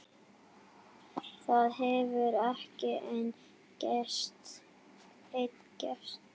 Það hefur ekki enn gerst.